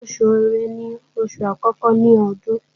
Oṣù ẹ̀rẹ́ ni oṣù àkọ́kọ́ ní Ọdún